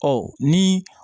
Ɔ ni